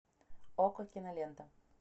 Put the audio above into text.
окко кинолента